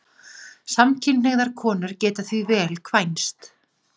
Samkynhneigðar konur geta því vel kvænst.